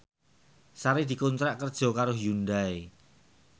Sari dikontrak kerja karo Hyundai